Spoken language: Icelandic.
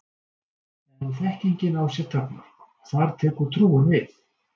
En þekkingin á sér takmörk og þar tekur trúin við.